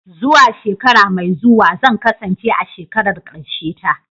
Zuwa shekara mai zuwa zan kasance a shekarar karshe ta.